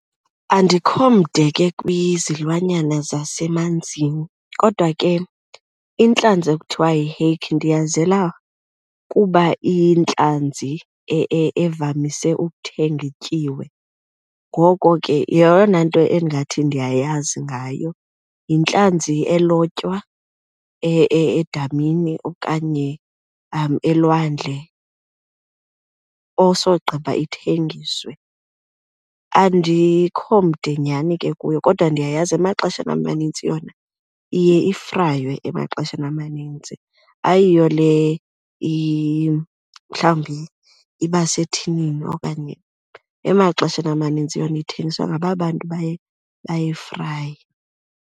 Andikho mde ke kwizilwanyana zasemanzini kodwa ke intlanzi ekuthiwa yi-hake ndiyazela kuba iyintlanzi evamise ukuthengwa ityiwe, ngoko ke yeyona nto endingathi ndiyayazi ngayo. Yintlanzi elotywa edamini okanye elwandle osogqiba ithengiswe. Andikho mde nyhani ke kuyo kodwa ndiyayazi emaxesheni amanintsi yona iye ifraywe emaxesheni amaninzi, ayiyo le mhlawumbi iba sethinini. Okanye emaxesheni amanintsi yona ithengiswa ngaba bantu baye bayifraye.